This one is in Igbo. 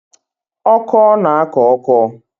Ọkọ na-akọ ọkọ